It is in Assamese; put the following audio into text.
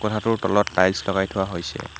কোঠাটোৰ তলত টাইলছ লগাই থোৱা হৈছে।